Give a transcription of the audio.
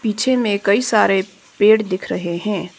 पीछे में कई सारे पेड़ देख रहे है।